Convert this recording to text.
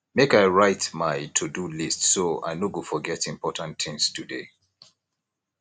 make i write my todo list so i no go forget important things today